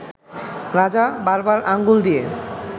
রাজা বারবার আঙ্গুল দিয়ে